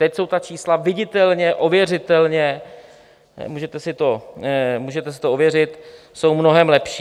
Teď jsou ta čísla viditelně, ověřitelně, můžete si to ověřit, jsou mnohem lepší.